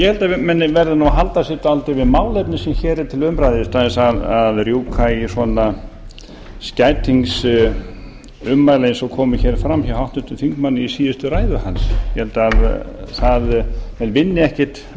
ég held að menn verði nú að halda sig dálítið við málefnið sem hér er til umræðu í stað þess að rjúka í svona skætingsummæli eins og komu hér fram hjá háttvirtum þingmanni í síðustu ræðu hans ég held að menn vinni ekkert